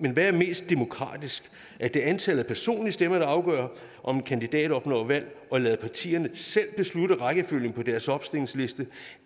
men hvad er mest demokratisk er det antallet af personlige stemmer der skal afgøre om en kandidat opnår valg og lade partierne selv beslutte rækkefølgen på deres opstillingsliste